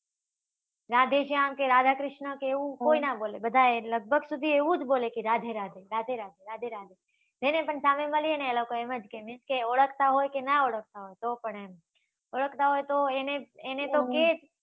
રાધેશ્યામ કે રાધાકૃષ્ણ કે એવું કોઈ નાં બોલે બધા લગભગ સુધી એવું જ બોલે કે રાધે રાધે રાધે રાધે રાધે રાધે જેને પણ સામે મળીયે ને એ લોકો એમ જ કે દિલ સે ઓળખાતા હોય કે નાં ઓળખતા હોય તો પણ એમ ઓળખાતા હોય એને તો કહે જ